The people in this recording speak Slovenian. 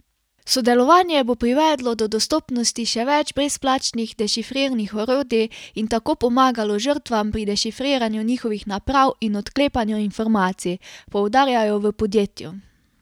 Sodelovanje bo privedlo do dostopnosti še več brezplačnih dešifrirnih orodij in tako pomagalo žrtvam pri dešifriranju njihovih naprav in odklepanju informacij, poudarjajo v podjetju.